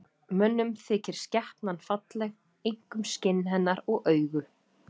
Mönnum þykir skepnan falleg, einkum skinn hennar og augu.